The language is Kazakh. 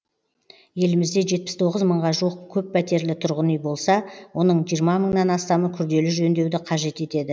елімізде жетпіс тоғыз мыңға жуық көппәтерлі тұрғын үй болса оның жиырма мыңнан астамы күрделі жөндеуді қажет етеді